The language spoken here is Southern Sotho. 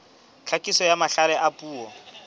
tlhakiso ya mahlale a puo